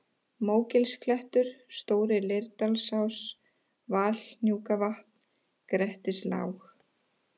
Mógilsklettur, Stóri-Leirdalsás, Valhnúkavatn, Grettislág